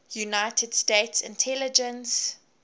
united states intelligence